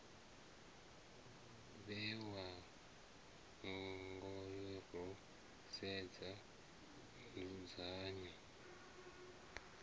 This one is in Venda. vhewa ngayo ro sedza nzudzanyo